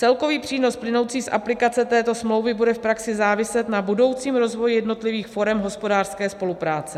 Celkový přínos plynoucí z aplikace této smlouvy bude v praxi záviset na budoucím rozvoji jednotlivých forem hospodářské spolupráce.